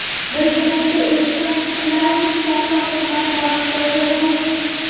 Birgalikda erishgan yutuqlarimiz katta hurmat va maqtovga loyiq.